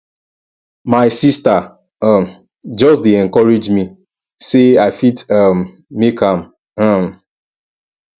my sista um just dey encourage me sey i fit um make am um